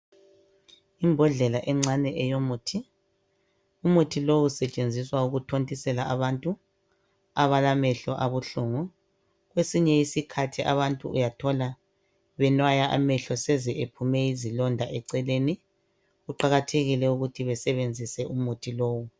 Imbodlela encane eyomuthi, umuthi lowo usetshenziswa ukuthontisela abantu abalamenhlo abuhlungu. Kwesinye isikhathi abantu uyathola benwaya amehlo eseze ephume izilonda eceleni kuqakathekile ukuthi basebenzise umuthi lowo.